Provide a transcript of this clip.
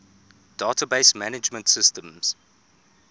database management systems